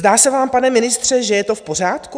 Zdá se vám, pane ministře, že je to v pořádku?